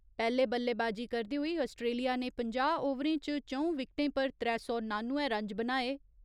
पैह्‌ले बल्लेबाजी करदे होई आस्ट्रेलिया ने पंजाह् ओवरें च च'ऊं विकटें पर त्रै सौ नानुए रन्ज बनाए।